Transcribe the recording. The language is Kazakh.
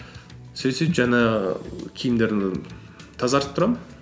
сөйтіп сөйтіп жаңағы киімдерімді тазартып тұрамын